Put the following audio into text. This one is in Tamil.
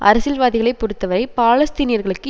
அரசியல்வாதிகளைப் பொறுத்தவரை பாலஸ்தீனியர்களுக்கு